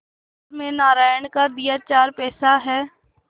घर में नारायण का दिया चार पैसा है